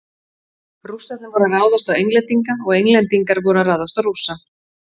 Rússarnir voru að ráðast á Englendinga og Englendingar voru að ráðast á Rússa.